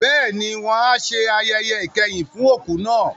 Bẹ́ẹ̀ni, wọn a ṣe ayẹyẹ ìkẹyìn fún òkú náà.